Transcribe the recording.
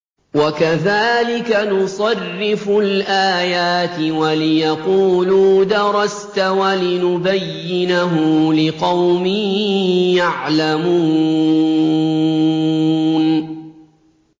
وَكَذَٰلِكَ نُصَرِّفُ الْآيَاتِ وَلِيَقُولُوا دَرَسْتَ وَلِنُبَيِّنَهُ لِقَوْمٍ يَعْلَمُونَ